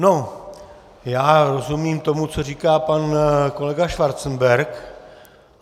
No, já rozumím tomu, co říká pan kolega Schwarzenberg.